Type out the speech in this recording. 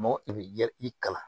Mɔgɔ i bɛ i kalan